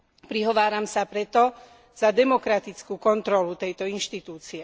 Prihováram sa preto za demokratickú kontrolu tejto inštitúcie.